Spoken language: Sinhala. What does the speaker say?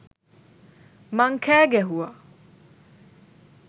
මං කෑ ගැහුවා.